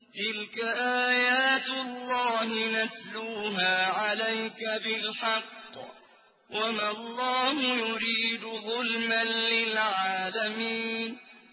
تِلْكَ آيَاتُ اللَّهِ نَتْلُوهَا عَلَيْكَ بِالْحَقِّ ۗ وَمَا اللَّهُ يُرِيدُ ظُلْمًا لِّلْعَالَمِينَ